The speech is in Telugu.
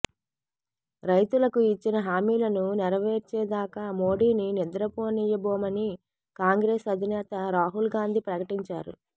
రైతులకు ఇచ్చిన హామీలను నెరవేర్చేదాకా మోఢీని నిద్రపోనివ్వబోమని కాంగ్రెస్ అధినేత రాహుల్ గాంధీ ప్రకటించారు